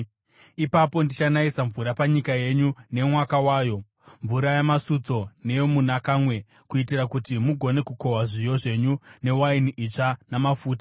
ipapo ndichanayisa mvura panyika yenyu nemwaka wayo, mvura yamasutso neyomunakamwe, kuitira kuti mugone kukohwa zviyo zvenyu newaini itsva namafuta.